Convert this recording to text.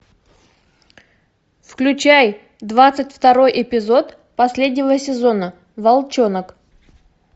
включай двадцать второй эпизод последнего сезона волчонок